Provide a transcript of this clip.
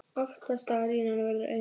Aftasta línan verður eins.